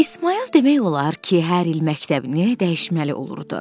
İsmayıl demək olar ki, hər il məktəbini dəyişməli olurdu.